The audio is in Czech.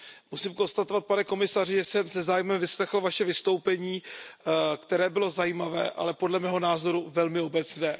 Musím konstatovat, pane komisaři, že jsem se zájmem vyslechl Vaše vystoupení, které bylo zajímavé, ale podle mého názoru velmi obecné.